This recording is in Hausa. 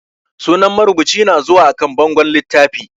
Sunan marubuci na zuwa a kan bangon littafi